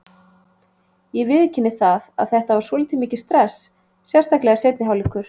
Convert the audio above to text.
Ég viðurkenni það að þetta var svolítið mikið stress, sérstaklega seinni hálfleikur.